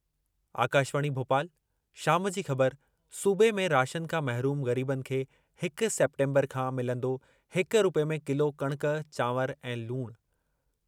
आकाशवाणी, भोपाल शाम जी ख़बर सूबे में राशन खां महरूम ग़रीबनि खे हिक सेप्टेम्बर खां मिलंदो हिक रूपए में किलो कणक, चांवर ऐं लूण।